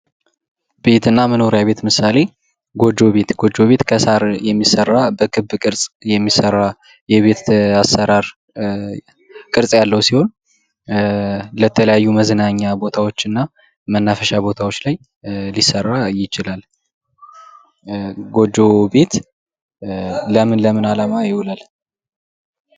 ቤትና መኖሪያ ቤት ምሳሌ ጎጆ ቤት ከሳሪ የሚሰራ በቅርጽ የሚሠራ የቤት አሰራር ቅርጽ ያለው ሲሆን፥ ለተለያዩ መዝናኛ ቦታዎች እና መናፈሻ ቦታዎችላይ ሊሰራ ይችላል ።ጎጆ ቤት ለምን ለምን አላማ ይውላል?